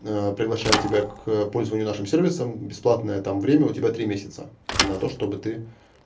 приглашаю тебя к пользованию нашим сервисом бесплатное там время у тебя три месяца на то чтобы ты